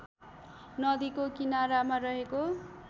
नदीको किनारामा रहेको